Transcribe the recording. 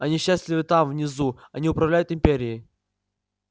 они счастливы там внизу они управляют империей